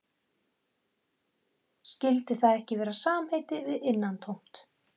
Skyldi það ekki vera samheiti við innantómt?